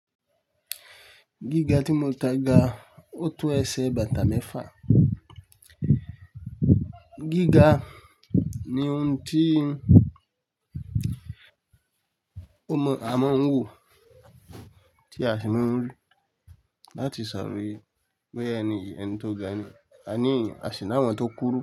Gíga tí mo kan ga, ó tó ẹsẹ̀ bàtà mẹ́fà. Gíga ni oun tí ó mọ à mọn ń wò, tí a sì máa ń rí, láti saroye boya ẹni yii ẹni tó ga ni, àní èyan asì n'àwọ́n tó kúrú.